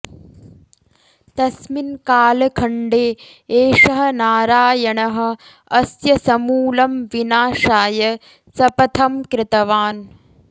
तस्मिन् कालखण्डे एषः नारायणः अस्य समूलं विनाशाय शपथं कृतवान्